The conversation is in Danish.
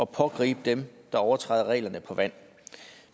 pågribe dem der overtræder reglerne på vand